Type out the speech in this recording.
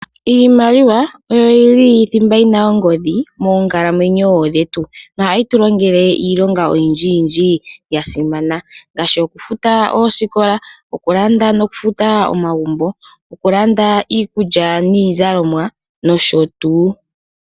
Iimaliwa oyo yili thimba yina ongodhi moonkalamwenyo dhetu, ohayi tu longele iilonga oyindji yasimana ngaashi okufuta oosikola, okulanda nokufuta omagumbo, okulanda iikulya niizalomwa nosho tuu.